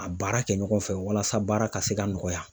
A baara kɛ ɲɔgɔn fɛ walasa baara ka se ka nɔgɔya.